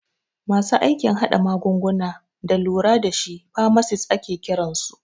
Masu aikin hada magunguna da lura dashi famasis ake kiransu